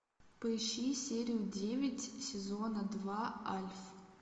поищи серию девять сезона два альф